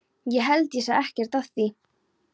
Ég held ég sé ekkert að því.